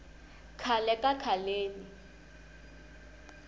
khale ka khaleni